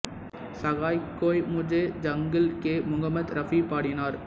சஹாய் கோய் முஜே ஜங்கிள் கே முகம்மது ரஃபி பாடினார்